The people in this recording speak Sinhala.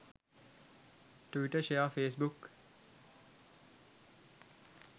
twitter share facebook